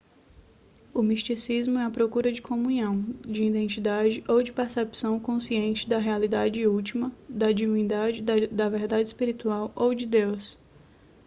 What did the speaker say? o misticismo é a procura de comunhão de identidade ou de percepção consciente da realidade última da divindade da verdade espiritual ou de deus